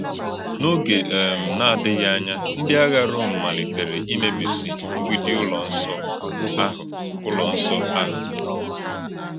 N’ógè um na-adị̀ghị ànyà, ndí àghà Rọ́m malìtèrè ìmébísì mgbídì Ụ́lọ́ Nsọ áhụ̀. Ụ́lọ́ Nsọ áhụ̀.